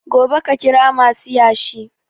Gobe ka kira masu yashi